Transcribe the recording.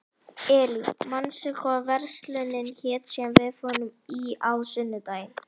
Elí, manstu hvað verslunin hét sem við fórum í á sunnudaginn?